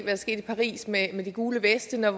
er sket i paris med med de gule veste med